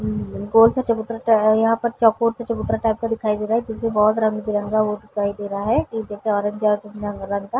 हम्म्म गोल-सा चबूतरा-सा है यहाँ पर चकोर सा चबूतरा टाइप का दिखाई दे रहा है जो की रंग बिरंगा वो दिखाई दे रहा पीछे से ऑरेंज रंग का --